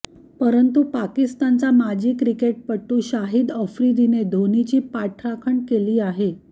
परंतु पाकिस्तानचा माजी क्रिकेटपटू शाहिद आफ्रिदीने धोनीची पाठराखण केली आहे